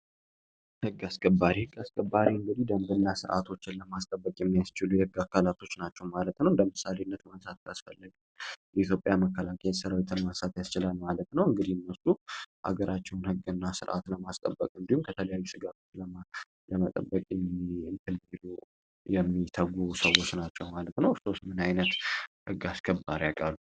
ህግ አስከባሪ ህግ አስከባሪ እንግዲህ ደንድ እና ስርዓቶችን ለማስጠበቅ የሚያስችሉ የህግ አካላቶች ናቸው ማለት ነው። እንደምሳሌነት መንሳት ያስፈለግ የኢዮጵያ መከላካ የተስራ የተመወሳት ያስቸላን ማለት ነው። እንግዲህ ነሱ ሀገራችውን ህግ እና ሥርዓት ለማስጠበቅ እንዲሁም ከተለያዩ ሥጋቶች ለማለመጠበቅ የሚተጉ ሰዎች ናቸው ማለት ነው። እርሶስ ምንዓይነት ህግ አስከባር ያቃሉ?